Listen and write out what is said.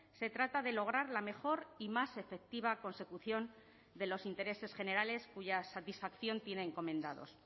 se trata de lograr la mejor y más efectiva consecución de los intereses generales cuya satisfacción tiene encomendados